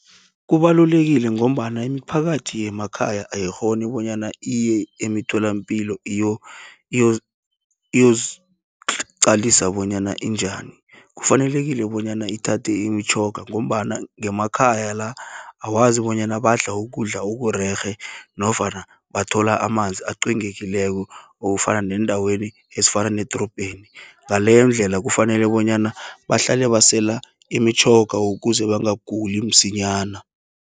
Kubalulekile ngombana iimphakathi yemakhaya ayikghoni, bonyana iye eemtholapilo iyozi qalisa bonyana injani. Kufanelekile bonyana ithathe imitjhoga, ngombana ngemakhaya la, awazi bonyana badla ukudla okurerhe, nofana bathola amanzi acwengekileko, okufana neendaweni ezifana nedrobheni. Ngaleyondlela kufanele bonyana bahlale basela imitjhoga ukuze bangaguli msinyana.